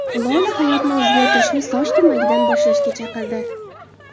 Lola hayotni o‘zgartirishni soch turmagidan boshlashga chaqirdi .